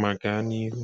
ma gaa n’ihu.